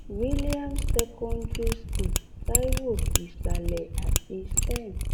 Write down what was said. williams secondary school taiwo isàlẹ àti saint